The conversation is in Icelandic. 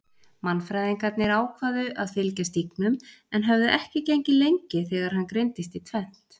Mannfræðingarnir ákváðu að fylgja stígnum en höfðu ekki gengið lengi þegar hann greindist í tvennt.